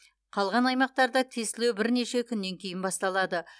қалған аймақтарда тестілеу бірнеше күннен кейін басталады